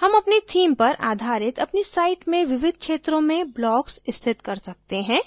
हम अपनी theme पर आधारित अपनी site में विविध क्षेत्रों में blocks स्थित कर सकते हैं